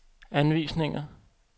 anvisninger